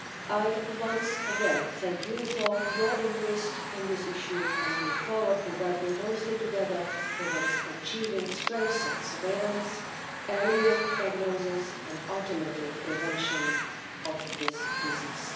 I once again thank you for your interest in this issue and look forward to working closely together towards achieving strengthened surveillance, earlier diagnosis and, ultimately, prevention of this disease.